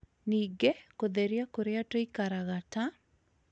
Ningĩ, kũtheria kũrĩa tũikaraga, ta